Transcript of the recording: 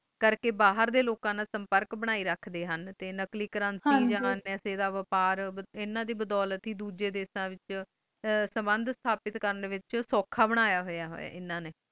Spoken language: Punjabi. ਕਰਕੇ ਬਾਹਰ ਡੇ ਲੂਕਾਂ ਨਾਲ ਸੁਮਪੁਰਕ ਬੰਦੇ ਰੱਖਦੇ ਹੁਣ ਤੇ ਨੁਕ਼ਲੀ currency ਆ ਪੈਸੇ ਦਾ ਵਪਾਰ ਇਨਾਂ ਦੇ ਬਦੋਲਤ ਹੈ ਦੋਜੇ ਦੇਸ਼ਾਂ ਵਿਚ ਸਮੰਦ ਸਾਬਿਤ ਕੁਰਨ ਲਾਏ ਸੌਖਾ ਬੰਦਯਾ ਹੋਇਆ ਆਏ ਇਨਾਂ ਨੀ